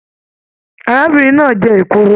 Arábìnrin náà jẹ èkuru.